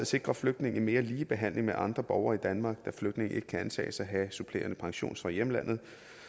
sikrer flygtninge en mere lige behandling med andre borgere i danmark da flygtninge ikke kan antages at have supplerende pension fra hjemlandet